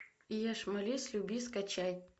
ешь молись люби скачай